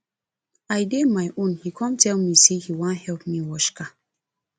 i dey my own he come tell me say he wan help me wash car